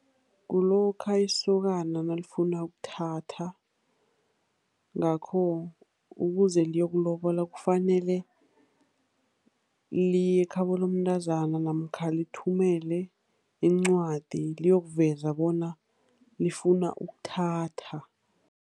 Kulokha isokana nalifuna ukuthatha. Ngakho, ukuze liyokulobola, kufanele liye ekhabo lomntazana namkha lithumele incwadi, liyokuveza bona lifuna ukuthatha.